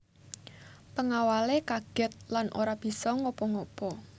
Pengawale kaget lan ora bisa ngapa ngapa